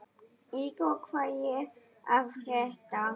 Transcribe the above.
Ígor, hvað er að frétta?